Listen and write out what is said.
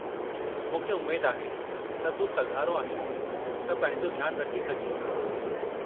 मूंखे उमेद आहे त तूं सघारो आहीं त पंहिंजो ध्यानु रखी सघीं।